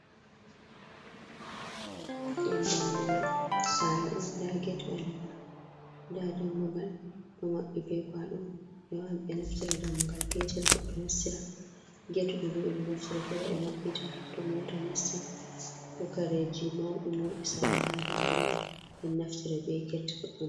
Ɗum dammugal sare on, nda get ɓalewa nda dammugal ɗo maɓɓi be kwaaɗo. Ɓe wawan ɓe naftira dammugal peetel goɗɗo nastira, get go bo ɓe ɗo naftira feere ɓe maɓɓiita to mota nastan ko kareeji mauɗi mauɗi salata ha dammugal ɓe naftira be get goɗɗum.